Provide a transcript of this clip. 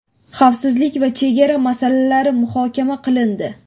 xavfsizlik va chegara masalalari muhokama qilindi.